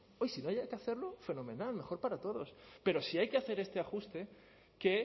no haya que hacerlo fenomenal mejor para todos pero sí hay que hacer este ajuste que